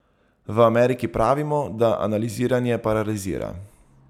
V Ameriki pravimo, da analiziranje paralizira.